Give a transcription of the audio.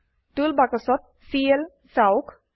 টুল বাক্সত চিএল চাওক